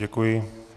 Děkuji.